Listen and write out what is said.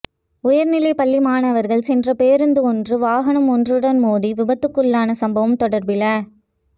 உயர்நிலை பள்ளி மாணவர்கள் சென்ற பேருந்து ஒன்று வாகனம் ஒன்றுடன் மோதி விபத்துக்குள்ளான சம்பவம் தொடர்பில